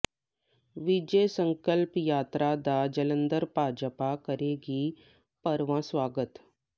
ਵਿਜੇ ਸੰਕਲਪ ਯਾਤਰਾ ਦਾ ਜਲੰਧਰ ਭਾਜਪਾ ਕਰੇਗੀ ਭਰਵਾਂ ਸਵਾਗਤ